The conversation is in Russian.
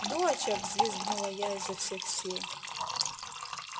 доча взвизгнула я изо всех сил